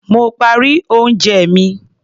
Mo parí oúnjẹ mi.